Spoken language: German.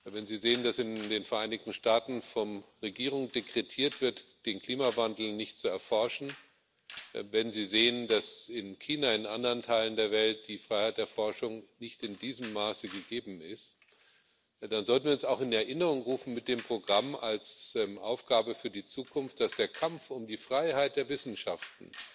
Wenn Sie sehen, dass in den Vereinigten Staaten von der Regierung dekretiert wird, den Klimawandel nicht zu erforschen, wenn Sie sehen, dass in China und in anderen Teilen der Welt die Freiheit der Forschung nicht in diesem Maße gegeben ist, dann sollten wir uns mit dem Programm auch als Aufgabe für die Zukunft in Erinnerung rufen, dass der Kampf um die Freiheit der Wissenschaften